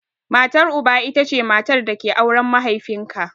Matar Uba ita ce matar da ke auren mahaifin ka.